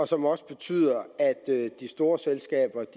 som også betyder at de store selskaber